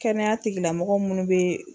Kɛnɛya tigilamɔgɔ munnu bɛ.